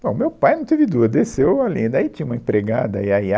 Bom, meu pai não teve dúvida, desceu a lenha, daí tinha uma empregada, a Iaiá